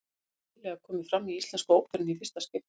Hann hefur nýlega komið fram í Íslensku óperunni í fyrsta skipti.